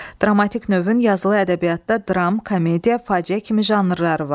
Dramatik növün yazılı ədəbiyyatda dram, komediya, faciə kimi janrları var.